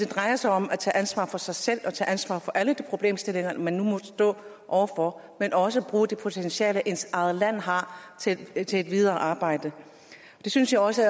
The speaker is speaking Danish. drejer sig om at tage ansvar for sig selv og tage ansvar for alle de problemstillinger man nu måtte stå over for men også bruge det potentiale ens eget land har til et et videre arbejde jeg synes også